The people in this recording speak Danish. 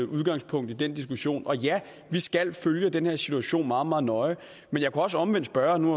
udgangspunkt i den diskussion ja vi skal følge den her situation meget meget nøje men jeg kunne også omvendt spørge om nu